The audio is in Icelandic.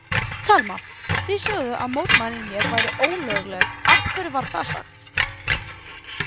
Telma: Þið sögðuð að mótmælin hér væru ólögleg, af hverju var það sagt?